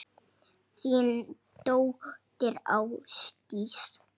Þín dóttir, Ásdís.